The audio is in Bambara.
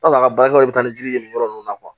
a ka baarakɛyɔrɔ bɛ taa ni ji ye nin yɔrɔ ninnu na